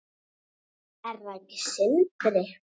Er það ekki Sindri?